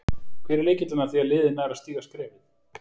Hver er lykillinn að því að liðið nær að stíga skrefið?